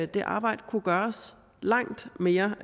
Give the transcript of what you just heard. det arbejde kunne gøres langt mere